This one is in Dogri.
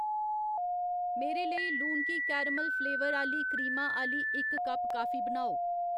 मेरे लेई लूनकी कैरमल फ्लेवर आह्ली क्रीमा आह्ली इक कप कॉफी बनाओ